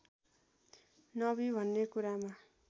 नबी भन्ने कुरामा